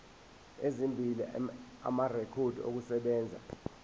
ezimbili amarekhodi okusebenza